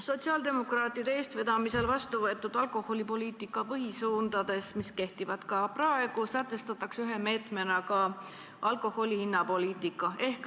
Sotsiaaldemokraatide eestvedamisel vastuvõetud alkoholipoliitika põhisuundades, mis kehtivad ka praegu, sätestatakse ühe meetmena alkoholi hinna poliitika.